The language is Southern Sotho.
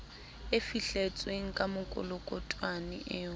e fihletsweng ka mekolokotwane eo